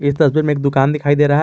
इस तस्वीर में एक दुकान दिखाई दे रहा है।